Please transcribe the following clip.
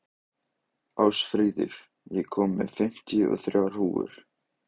Ásfríður, ég kom með fimmtíu og þrjár húfur!